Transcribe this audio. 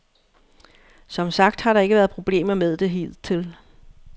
Som sagt har der ikke været problemer med det hidtil.